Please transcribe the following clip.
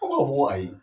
ayi